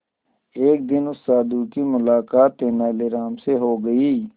एक दिन उस साधु की मुलाकात तेनालीराम से हो गई